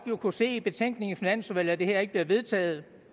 kunne se i betænkningen fra finansudvalget at det her ikke bliver vedtaget